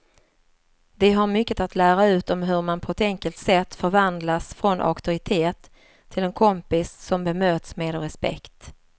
De har mycket att lära ut om hur man på ett enkelt sätt förvandlas från auktoritet till en kompis som bemöts med respekt.